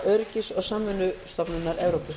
öryggis og samvinnustofnunar evrópu